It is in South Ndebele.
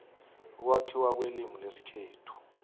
ukwakhiwa kwelimu lesikhethu